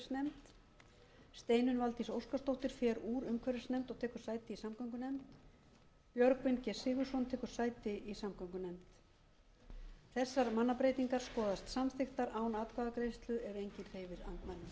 í umhverfisnefnd steinunn valdís óskarsdóttir fer úr umhverfisnefnd og tekur sæti í samgöngunefnd björgvin g sigurðsson tekur sæti í samgöngunefnd þessar mannabreytingar skoðast samþykktar án atkvæðagreiðslu ef enginn hreyfir andmælum